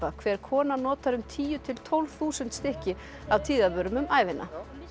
hver kona notar um tíu til tólf þúsund stykki af tíðavörum um ævina bítillinn